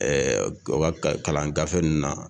u ka kalan gafe ninnu na